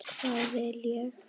Hvað vil ég?